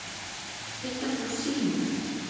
Hitt er þó sýnu